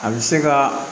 A bɛ se ka